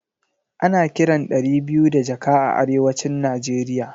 Ana kiran ɗari biyu da jaka a arewacin Nigeria